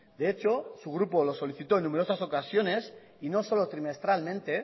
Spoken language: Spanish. de hecho su grupo lo solicitó en numerosas ocasiones y no solo trimestralmente